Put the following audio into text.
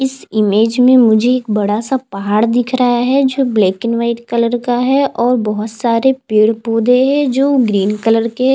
इस इमेज में मुझे एक बड़ा सा पहाड़ दिखा रहा है जो ब्लैक एंड वाइट कलर का है और बहुत सारे पेड़ - पौधे है जो ग्रीन कलर के --